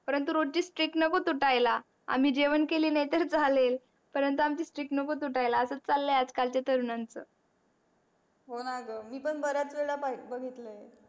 परंतु रोजची street नको तूटायला आम्ही जेवण केले नाही तर चालेल परंतु आम्हाची street नको तूटायला असच चालय आज कालच्या तरूणांच होणा ग मी पण बऱ्याच वेळ्या पाहिल बगीतल आहे.